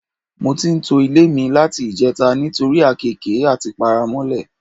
Mo ti ń to ilé mi láti ìje̩ta nítorí àkééke àti paramó̩lè̩.